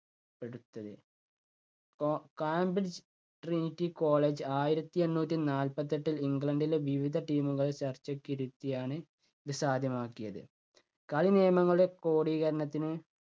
കോ Cambridge Trinity college ആയിരത്തി എണ്ണൂറ്റി നാൽപ്പത്തെട്ടിൽ ഇംഗ്ലണ്ടിലെ വിവിധ team കൾ ചർച്ചക്കിരുത്തിയാണ് ഇത് സാധ്യമാക്കിയത്. കളി നിയമങ്ങളുടെ ക്രോഡീകരണത്തിന്